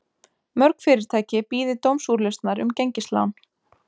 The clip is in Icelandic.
Mörg fyrirtæki bíði dómsúrlausnar um gengislán